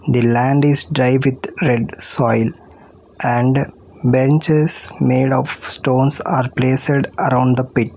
The land is dry with red soil and benches made of stones are placed around the pit.